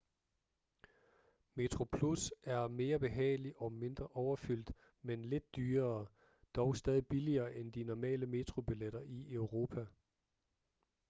metroplus er mere behagelig og mindre overfyldt men lidt dyrere dog stadig billigere end de normale metrobilletter i europa